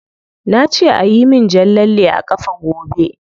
Na ce ayi min jan lalle a kafa gobe.